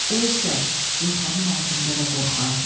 O isə yorğanın altında da qorxardı.